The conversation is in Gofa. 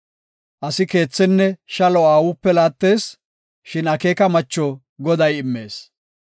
Asi keethenne shalo aawupe laattees; shin akeeka macho Goday immees.